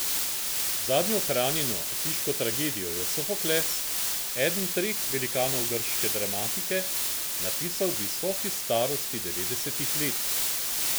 Zadnjo ohranjeno atiško tragedijo je Sofokles, eden treh velikanov grške dramatike, napisal v visoki starosti devetdesetih let.